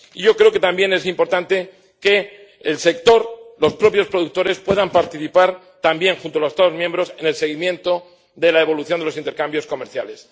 Y yo creo que también es importante que el sector, los propios productores, puedan participar también junto a los Estados miembros en el seguimiento de la evolución de los intercambios comerciales.